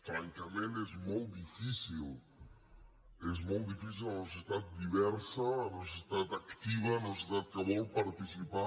francament és molt difícil és molt difícil en una societat diversa en una societat activa en una societat que vol participar